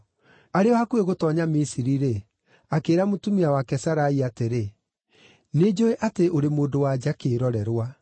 Arĩ o hakuhĩ gũtoonya Misiri-rĩ, akĩĩra mũtumia wake Sarai atĩrĩ, “Nĩnjũũĩ atĩ ũrĩ mũndũ-wa-nja kĩĩrorerwa.